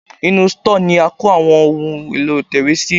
Inú stọ́ọ̀ ni a ń kó Àwọn ohun èlò ìtẹ̀wé sí.